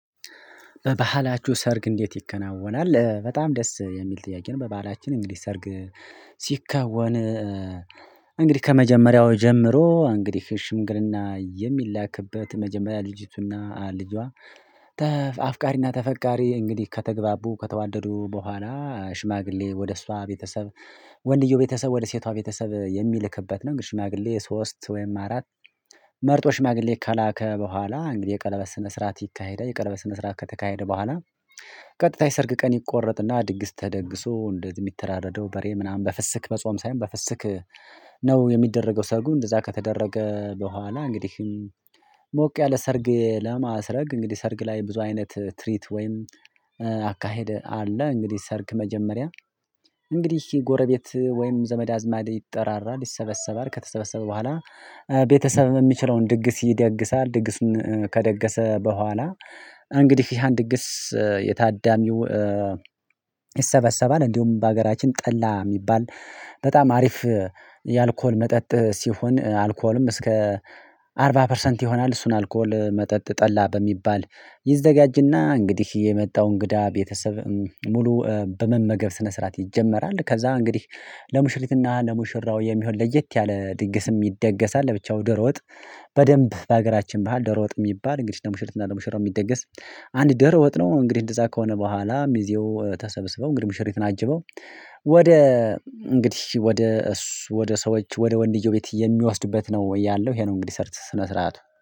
በባህላችሁ ሰርግ እንዴት ይከናወናል በጣም ደስ የሚል ጥያቄ ነው? በባህላችን እንግዲህ ሰርግ ሲከወን። እንግዲህ ከመጀመሪያው ጀምሮ እንግዲህ ሽምግልና የሚላክበት መጀመሪያ ልጅቱና ልጇ። አፍቃሪና ተፈቃሪ እንግዲህ ከተግባቡ ከተዋደዱ በኋላ ሽማግሌ ወደ እሷ ቤተሰብ ወንድየው ቤተሰብ ወደ ሴቷ ቤተሰብ የሚልክበት ነው። እንግዲህ ሽማግሌ ሶስት ወይም አራት። መርጦ ሽማግሌ ከላከ በኋላ እንግዲህ የቀለበት መስራት ይካሄዳል። የቀለበት ስነ ስርዓት ከተካሄደ በኋላ። ቀጥታ የሰርግ ቀን ይቆረጥና ድግስ ተደግሶ እንደ የሚተራረደው በሬ ምናምን በፍስክ በጾም ሳይሆን በፍስክ ነው የሚደረገው። ሰርጉን እንደዛ ከተደረገ በኋላ እንግዲህ። ሞቅ ያለ ሰርግ ለማስረግ እንግዲህ ሰርግ ላይ ብዙ አይነት ትሪት ወይም አካሄድ አለ። እንግዲህ ሰርግ መጀመሪያ እንግዲህ ይሄ ጎረቤት ወይም ዘመድ አዝማድ ይጠራራል ይሰበሰባል ከተሰበሰበ በኋላ። ቤተሰብ የሚችለውን ድግስ ይደግሳል። ድግስን ከደገሰ በኋላ እንግዲህ ይሄን ድግስ የታዳሚው ይሰበሰባል። እንዲሁም በሀገራችን ጠላ የሚባል በጣም አሪፍ። የአልኮል መጠጥ ሲሆን አልኮልም እስከ አርባ ፐርሰንት ይሆናል። እሱን አልኮል መጠጥ ጠላ በሚባል ይዘጋጅና እንግዲህ የመጣው እንግዳ ቤተሰብ ሙሉ በመመገብ ስነ ስርዓት ይጀመራል። ከዛ እንግዲህ ለሙሽሪትና ለሙሽራው የሚሆን ለየት ያለ ድግስም ይደገሳል። ለብቻው ደሮወጥ። በደንብ በሀገራችን ባህል ደሮወጥ የሚባል እንግዲህ ለሙሽረት እና ለሙሽራው የሚደገስ አንድ ደሮወጥ ነው። እንግዲህ እንደዛ ከሆነ በኋላም ሚዤው ተሰብስበው እንግዲህ ሙሽሪት አጅበው። ወደ እንግዲህ ወደ እሱ ወደ ሰዎች ወደ ወንድዮ ቤት የሚወስድበት ነው ያለው ይሄ ነው። እንግዲህ ሰርተህ ስነ ስርዓቱ